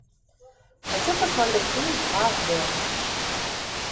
хочу посмотреть фильм ад